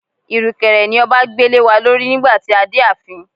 Irukere ni ọba gbé lewa lórí nígbà tí a dé ààfin.